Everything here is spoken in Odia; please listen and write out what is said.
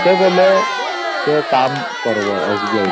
ସେତେବେଳେ ଯାଇ କାମ କରିବ SBI